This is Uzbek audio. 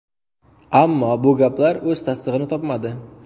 Ammo bu gaplar o‘z tasdig‘ini topmadi.